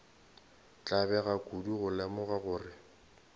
tlabega kudu go lemoga gore